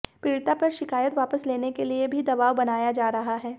पीड़िता पर शिकायत वापस लेने के लिए भी दबाव बनाया जा रहा है